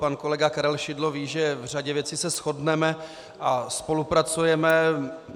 Pan kolega Karel Šidlo ví, že v řadě věcí se shodneme a spolupracujeme.